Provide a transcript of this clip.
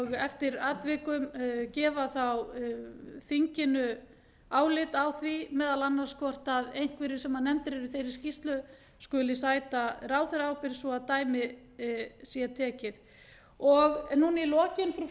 eftir atvikum gefa þá þinginu álit á því meðal annars hvort einhverjir sem nefndir eu í þeirri skýrslu skuli sæta ráðherraábyrgð svo að dæmi sé tekið nú í lokin frú forseti af